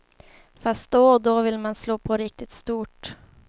Fast då och då vill man slå på riktigt stort.